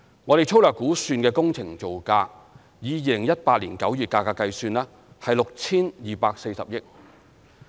我們粗略估算的工程造價，以2018年9月價格計算，為 6,240 億元。